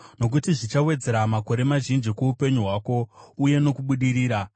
nokuti zvichawedzera makore mazhinji kuupenyu hwako, uye nokubudirira.